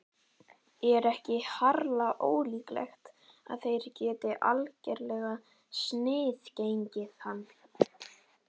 Er ekki harla ólíklegt að þeir geti algerlega sniðgengið hann?